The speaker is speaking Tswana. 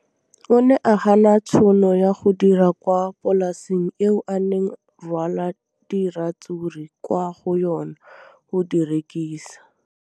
O ne a gana tšhono ya go dira kwa polaseng eo a neng rwala diratsuru kwa go yona go di rekisa.